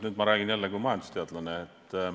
Nüüd ma räägin jälle kui majandusteadlane.